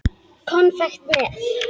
Konfekt með.